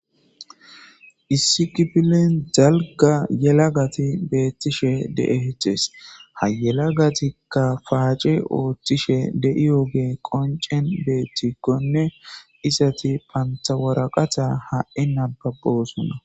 Issi kifilen dalga yelagati beettishe dee hecees ha yelagatikka paaci ooththishe de'iyooge qoncen beettikkonne isati pantawaraqata ha'i nababbosunna